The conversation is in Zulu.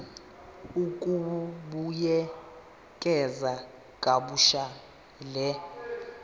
ukubuyekeza kabusha le